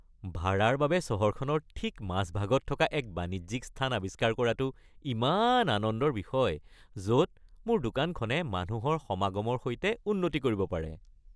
ভাড়াৰ বাবে চহৰখনৰ ঠিক মাজভাগত থকা এক বাণিজ্যিক স্থান আৱিষ্কাৰ কৰাটো ইমান আনন্দৰ বিষয়, য'ত মোৰ দোকানখনে মানুহৰ সমাগমৰ সৈতে উন্নতি কৰিব পাৰে।